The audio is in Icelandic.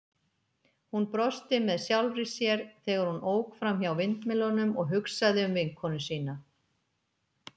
Hún brosti með sjálfri sér, þegar hún ók framhjá vindmyllunum og hugsaði um vinkonu sína.